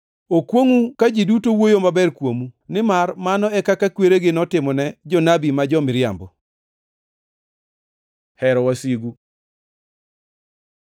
Okwongʼu ka ji duto wuoyo maber kuomu, nimar mano e kaka kweregi notimone jonabi ma jo-miriambo. Hero wasigu